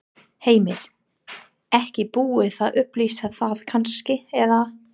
Heimir: Ekki búið að upplýsa það kannski, eða?